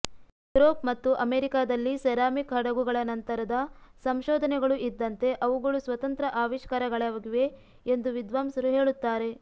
Europe ಮತ್ತು ಅಮೆರಿಕಾದಲ್ಲಿ ceramic ಹಡಗುಗಳ ನಂತರದ ಸಂಶೋಧನೆಗಳು ಇದ್ದಂತೆ ಅವುಗಳು ಸ್ವತಂತ್ರ ಆವಿಷ್ಕಾರಗಳಾಗಿವೆ ಎಂದು ವಿದ್ವಾಂಸರು ಹೇಳುತ್ತಾರೆ